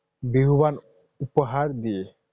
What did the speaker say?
বিহুৱান উপহাৰ দিয়ে।